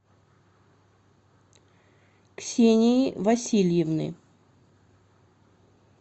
ксении васильевны